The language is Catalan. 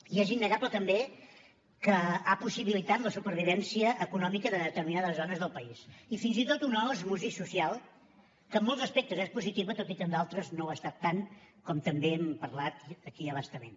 i és innegable també que ha possibilitat la supervivència econòmica de determinades zones del país i fins i tot una osmosi social que en molts aspectes és positiva tot i que en d’altres no ho ha estat tant com també n’hem parlat aquí a bastament